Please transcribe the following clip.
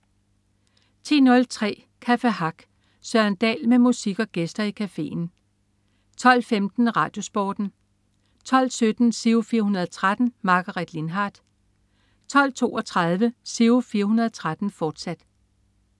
10.03 Café Hack. Søren Dahl med musik og gæster i cafeen 12.15 RadioSporten 12.17 Giro 413. Margaret Lindhardt 12.32 Giro 413, fortsat